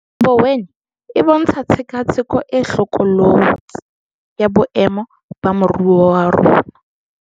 Mboweni e bontsha tshekatsheko e hlokolotsi ya boemo ba moruo wa rona.